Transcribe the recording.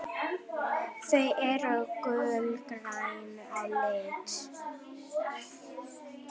Þau eru gulgræn á lit.